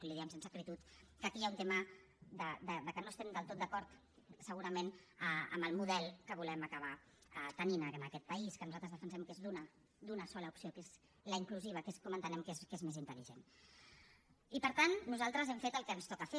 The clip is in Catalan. li ho diem sense acritud que aquí hi ha un tema que no estem del tot d’acord segurament amb el model que volem acabar tenint en aquest país que nosaltres defensem que és d’una d’una sola opció que és la inclusiva que és com entenem que és més intel·i per tant nosaltres hem fet el que ens toca fer